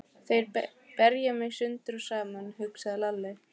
Þeir berja mig sundur og saman, hugsaði Lalli.